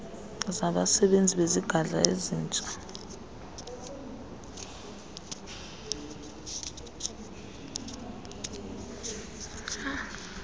zabasebenzi bezigadla ezitsala